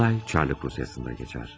Olay Çarlıq Rusiyasında keçər.